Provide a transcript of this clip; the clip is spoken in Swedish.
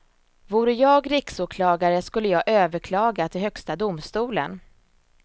Vore jag riksåklagare skulle jag överklaga till högsta domstolen.